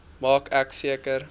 maak ek seker